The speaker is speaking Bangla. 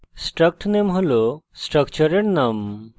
struct name হল স্ট্রাকচারের name